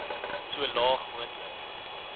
so laag moontlik